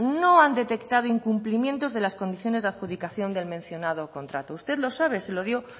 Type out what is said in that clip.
no han detectado incumplimientos de las condiciones de adjudicación del mencionado contrato usted lo sabe